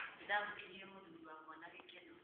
Nĩ ndaamũkĩrire mũthuri wakwa na gĩkeno